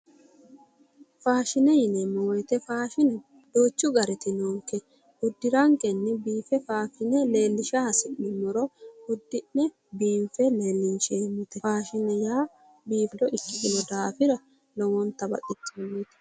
Faashine yineemo woyite faashine duuchu garit noonikke uddiranikenni biinife faashione leelisha hasiisano udi'ne biinife leeliniaheemote fashine yaa biinille ikkitino daafira lowonita baxisannoe